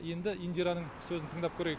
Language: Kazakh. енді индираның сөзін тыңдап көрейік